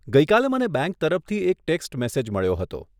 ગઇ કાલે મને બેંક તરફથી એક ટેક્સ્ટ મેસેજ મળ્યો હતો.